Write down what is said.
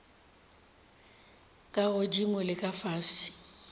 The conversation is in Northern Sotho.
ka godimo le ka fase